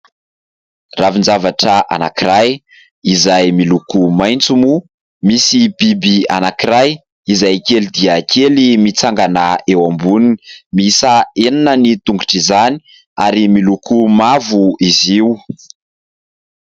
Ravin-javatra anankiray izay miloko maitso moa misy bibikely anankiray izay kely dia kely mitsangana eo amboniny. Miisa enina ny tongotr'izany ary miloko mavo izy io.